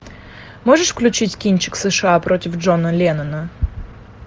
можешь включить кинчик сша против джона леннона